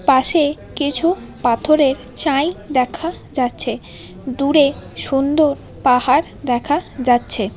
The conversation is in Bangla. পাশে কিছু পাথরের চাই দেখা যাচ্ছে দূরে সুন্দর পাহাড় দেখা যাচ্ছে।